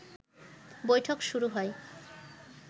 বৈঠক শুরু হয়